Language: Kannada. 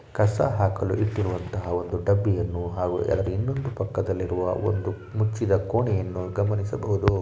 ಕಸ ಹಾಕಲು ಇಟ್ಟಿರುವಂತಹ ಒಂದು ಡಬ್ಬಿಯನ್ನು ಹಾಗೂ ಅದು ಇನ್ನೊಂದು ಪಕ್ಕದಲ್ಲಿ ಇರುವ ಮುಚ್ಚಿದ ಕೋಣೆಯನ್ನು ಗಮನಿಸಬಹುದು